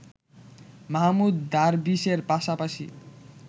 মাহমুদ দারবিশের পাশাপাশি